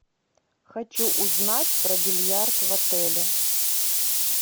хочу узнать про бильярд в отеле